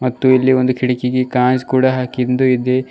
ಮತ್ತು ಇಲ್ಲಿ ಒಂದು ಕಿಡಕಿಗೆ ಕಾಂಜ ಕೂಡ ಹಾಕಿಂದು ಇದೆ.